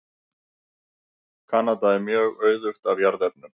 Kanada er mjög auðugt af jarðefnum.